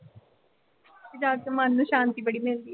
ਕੇ ਜਾ ਕੇ ਮਾਨ ਨੂੰ ਸ਼ਾਂਤੀ ਬੜੀ ਮਿਲਦੀ ਆ।